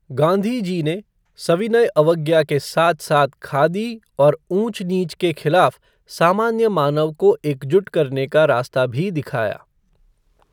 गांधीजी ने , सविनय अवज्ञा के साथ साथ खादी और ऊंच नीच के खिलाफ सामान्य मानव को एकजुट करने का रास्ता भी दिखाया।